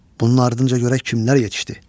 Bunun ardınca xanım görək kimlər yetişdi.